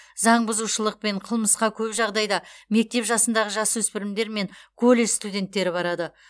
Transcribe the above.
заңбұзушылық пен қылмысқа көп жағдайда мектеп жасындағы жасөспірімдер мен колледж студенттері барады